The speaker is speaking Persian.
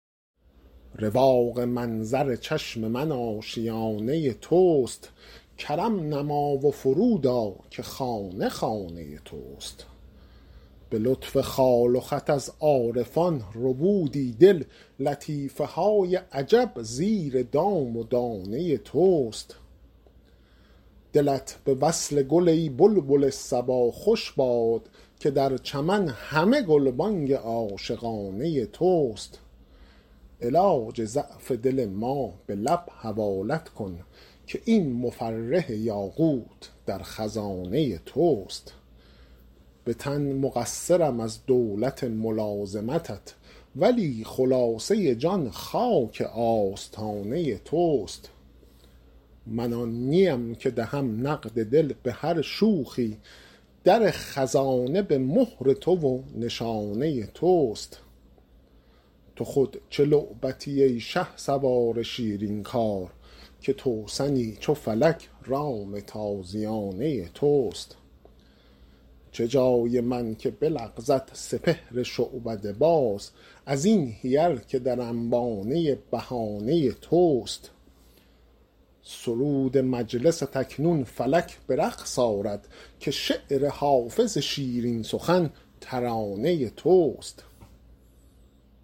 رواق منظر چشم من آشیانه توست کرم نما و فرود آ که خانه خانه توست به لطف خال و خط از عارفان ربودی دل لطیفه های عجب زیر دام و دانه توست دلت به وصل گل ای بلبل صبا خوش باد که در چمن همه گلبانگ عاشقانه توست علاج ضعف دل ما به لب حوالت کن که این مفرح یاقوت در خزانه توست به تن مقصرم از دولت ملازمتت ولی خلاصه جان خاک آستانه توست من آن نیم که دهم نقد دل به هر شوخی در خزانه به مهر تو و نشانه توست تو خود چه لعبتی ای شهسوار شیرین کار که توسنی چو فلک رام تازیانه توست چه جای من که بلغزد سپهر شعبده باز از این حیل که در انبانه بهانه توست سرود مجلست اکنون فلک به رقص آرد که شعر حافظ شیرین سخن ترانه توست